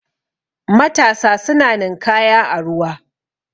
matasa suna ninkaya a ruwa